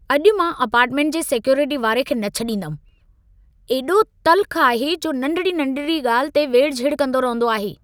अॼु मां अपार्टमेंट जे सिक्योरिटीअ वारे खे न छॾींदुमि। एॾो तल्ख़ु आहे, जो नंढिड़ी-नंढिड़ी ॻाल्हि ते वेड़ु झेड़ु कंदो रहंदो आहे।